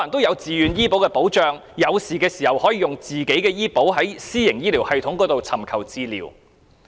有了自願醫保的保障，市民在需要時便可使用私營醫療服務。